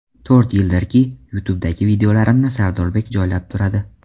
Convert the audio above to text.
To‘rt yildirki, YouTube’dagi videolarimni Sardorbek joylab turadi.